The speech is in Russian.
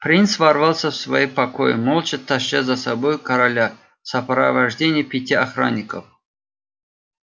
принц ворвался в свои покои молча таща за собой короля в сопровождении пяти охранников